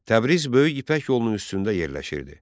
Təbriz böyük İpək yolunun üstündə yerləşirdi.